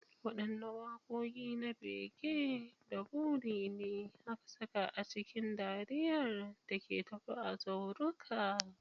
Wadanne wakoki na bege da buri ne aka saka a cikin dariyar da ke tafe a zauruka?